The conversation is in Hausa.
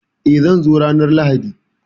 Eh, zan zo ranar Lahadi